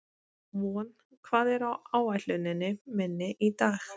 Von, hvað er á áætluninni minni í dag?